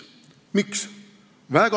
Miks?